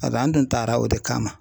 Pasek'a tun taara o de kama